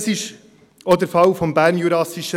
Und das ist auch der Fall beim BJR so.